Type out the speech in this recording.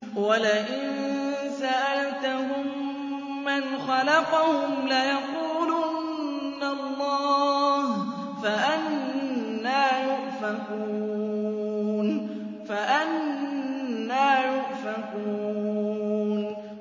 وَلَئِن سَأَلْتَهُم مَّنْ خَلَقَهُمْ لَيَقُولُنَّ اللَّهُ ۖ فَأَنَّىٰ يُؤْفَكُونَ